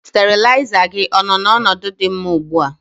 Steriliser gị ọ nọ n'ọnọdụ dị mma ugbu a?